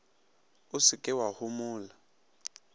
o se ke wa homola